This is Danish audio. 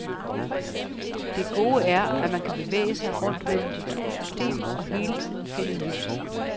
Det gode er, at man kan bevæge sig rundt mellem de to systemer og hele tiden finde nyt.